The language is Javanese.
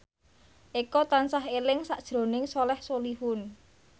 Eko tansah eling sakjroning Soleh Solihun